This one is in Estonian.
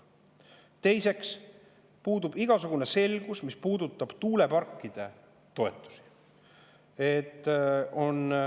Teiseks puudub igasugune selgus, mis puudutab tuuleparkide toetusi.